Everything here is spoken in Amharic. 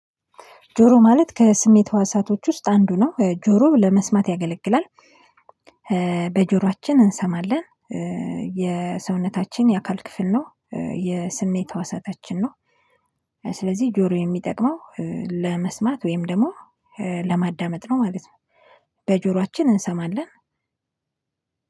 ጆሮ ማለት ከስሜት ህዋሳቶች ውስጥ አንዱ ነው ጆሮ ለመስማት ያገለግላል። በጆሯችን እንሰማለን የሰውነታችን የአካል ክፍል ነው የስሜት ህዋሳታችን ነው። ስለዚህ ጆሮ የሚጠቅመው ለመስማት ወይም ደግሞ ለማዳመጥ ነው ማለት ነው። በጆሯችን እንሰማለን